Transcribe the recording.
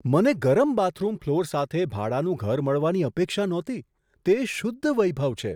મને ગરમ bathroom floor સાથે ભાડાનું ઘર મળવાની અપેક્ષા નહોતી તે શુદ્ધ વૈભવ છે!